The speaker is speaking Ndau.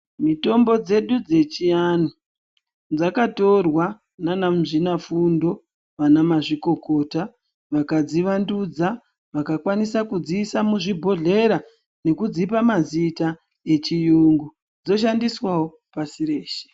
Mitombo dzedu dzechianthu dzakatorwa ndiana muzvinafundo nana mazvikokota vakadzivandudza vakakwanisa kudziisa muzvibhodhlera nekudzipa mazita echiyungu dzoshandiswawo pasi reshe.